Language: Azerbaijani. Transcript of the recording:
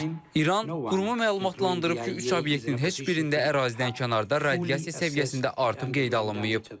İran quruma məlumatlandırıb ki, üç obyektin heç birində ərazidən kənarda radiasiya səviyyəsində artım qeydə alınmayıb.